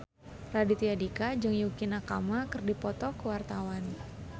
Raditya Dika jeung Yukie Nakama keur dipoto ku wartawan